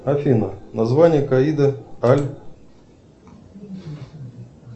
афина название каида аль